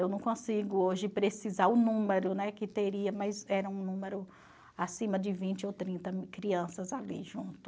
Eu não consigo hoje precisar o número, né, que teria, mas era um número acima de vinte ou trinta crianças ali junto.